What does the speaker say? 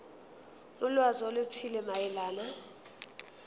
ulwazi oluthile mayelana